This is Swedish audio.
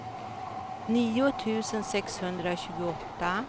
nio tusen sexhundratjugoåtta